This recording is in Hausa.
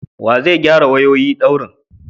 Wa zai gyara wayoyi daurin?